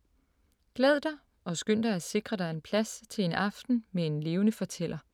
Glæd dig og skynd dig at sikre dig en plads til en aften med en levende fortæller.